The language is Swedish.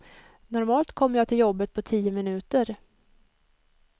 Normalt kommer jag till jobbet på tio minuter.